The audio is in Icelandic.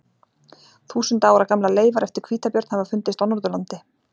Þúsunda ára gamlar leifar eftir hvítabjörn hafa fundist á Norðurlandi.